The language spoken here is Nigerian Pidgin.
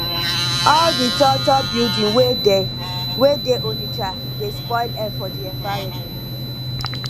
all di tall tall building wey dey wey dey onitsha dey spoil air for di environment